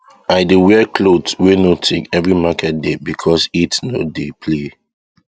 i dey wear cloth wey no thick every market day because heat no dey play